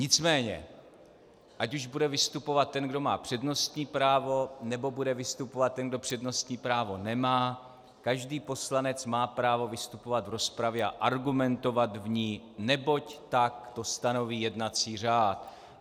Nicméně ať už bude vystupovat ten, kdo má přednostní právo, nebo bude vystupovat ten, kdo přednostní právo nemá, každý poslanec má právo vystupovat v rozpravě a argumentovat v ní, neboť tak to stanoví jednací řád.